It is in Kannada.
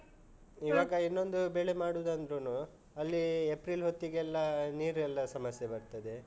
ಹ್ಮ್. ಇವಾಗ. ಇನ್ನೊಂದು ಬೆಳೆ ಮಾಡುದಂದ್ರುನು ಅಲ್ಲಿ ಏಪ್ರಿಲ್ ಹೊತ್ತಿಗೆಲ್ಲ ನೀರೆಲ್ಲ ಸಮಸ್ಯೆ ಬರ್ತದೆ.